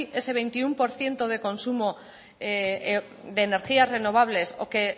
ese veintiuno por ciento de consumo de energías renovables o que